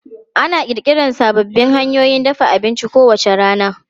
Ana ƙirƙira sababbin hanyoyin dafa abinci kowace rana.